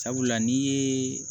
Sabula n'i ye